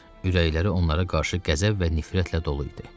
Ürəkləri onlara qarşı qəzəb və nifrətlə dolu idi.